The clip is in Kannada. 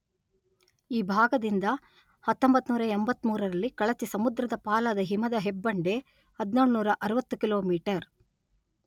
ಈ ಭಾಗದಿಂದ ಹತ್ತೊಂಭತ್ತು ನೂರಾ ಎಂಭತ್ಮೂರರಲ್ಲಿ ರಲ್ಲಿ ಕಳಚಿ ಸಮುದ್ರದ ಪಾಲಾದ ಹಿಮದ ಹೆಬ್ಬಂಡೆ ಹದಿನೇಳು ನೂರಾ ಅರವತ್ತು ಕಿಲೋಮೀಟರ್